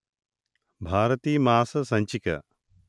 భారతి మాస సంచిక